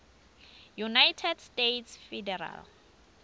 united states federal